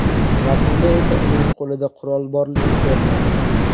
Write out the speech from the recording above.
Rasmda esa uning qo‘lida qurol borligi ko‘rinadi.